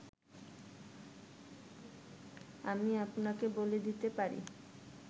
আমি আপনাকে বলে দিতে পারি